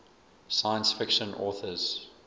science fiction authors